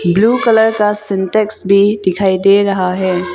Blue colour का सिंटेक्स भी दिखाई दे रहा है।